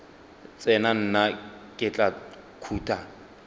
tsena nna ke tla khuta